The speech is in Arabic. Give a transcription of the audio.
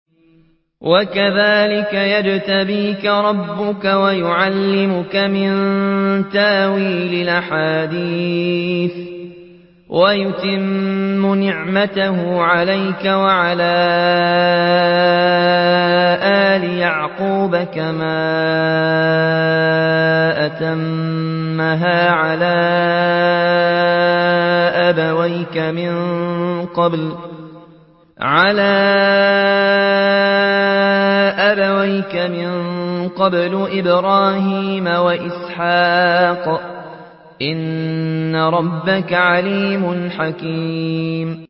وَكَذَٰلِكَ يَجْتَبِيكَ رَبُّكَ وَيُعَلِّمُكَ مِن تَأْوِيلِ الْأَحَادِيثِ وَيُتِمُّ نِعْمَتَهُ عَلَيْكَ وَعَلَىٰ آلِ يَعْقُوبَ كَمَا أَتَمَّهَا عَلَىٰ أَبَوَيْكَ مِن قَبْلُ إِبْرَاهِيمَ وَإِسْحَاقَ ۚ إِنَّ رَبَّكَ عَلِيمٌ حَكِيمٌ